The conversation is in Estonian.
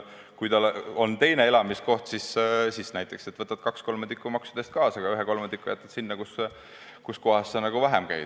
Kui sul on ka teine elamiskoht, siis näiteks võtad kaks kolmandikku maksudest kaasa, aga kolmandiku jätad sinna, kus sa vähem käid.